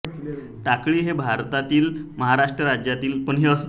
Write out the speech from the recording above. टाकाळी हे भारतातील महाराष्ट्र राज्यातील वर्धा जिल्ह्यातील सेलू तालुक्यातील एक गाव आहे